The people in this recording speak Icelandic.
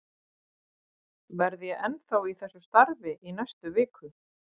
Verð ég ennþá í þessu starfi í næstu viku?